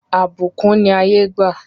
Àbùkún ni ayé gbà.